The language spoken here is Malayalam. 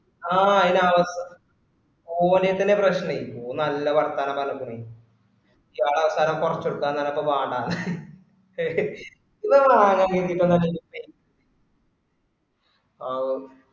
ആ അയിന് ഓന് ആയിത്തന്നെ പ്രശനക്കും ഓന് നല്ല വർത്താനം പറഞ്ഞക്കണ് ഓന് അവസാനം കൊറച്ചുകൊടുക്കാ പറഞ്ഞപ്പോ വാണ്ടന്ന്